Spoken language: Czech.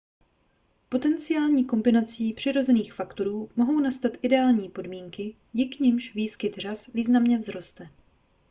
potenciální kombinací přirozených faktorů mohou nastat ideální podmínky díky nimž výskyt řas významně vzroste